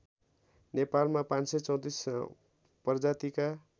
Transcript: नेपालमा ५३४ प्रजातिका